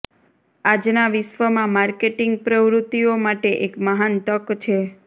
આજના વિશ્વમાં માર્કેટિંગ પ્રવૃત્તિઓ માટે એક મહાન તક છે